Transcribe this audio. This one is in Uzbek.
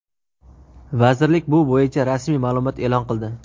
Vazirlik bu bo‘yicha rasmiy ma’lumot e’lon qildi.